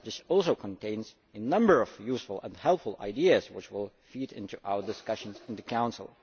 This also contains a number of useful and helpful ideas which will feed into our discussions in the Council.